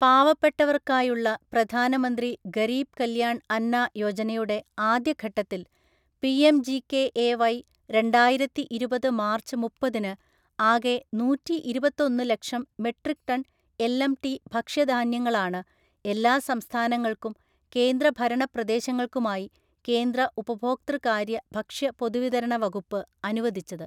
പാവപ്പെട്ടവര്‍ക്കായുള്ള പ്രധാനമന്ത്രി ഗരീബ് കല്യാണ്‍ അന്ന യോജനയുടെ ആദ്യഘട്ടത്തില്‍ പിഎംജികെഎവൈ രണ്ടായിരത്തിഇരുപത് മാര്‍ച്ച് മുപ്പതിന് ആകെ നൂറ്റിഇരുപത്തൊന്നു ലക്ഷം മെട്രിക് ടണ്‍ എല്‍.എം.ടി. ഭക്ഷ്യധാന്യങ്ങളാണ് എല്ലാ സംസ്ഥാനങ്ങള്‍ക്കും കേന്ദ്രഭരണപ്രദേശങ്ങള്‍ക്കുമായി കേന്ദ്ര ഉപഭോക്തൃകാര്യ, ഭക്ഷ്യ, പൊതുവിതരണ വകുപ്പ് അനുവദിച്ചത്.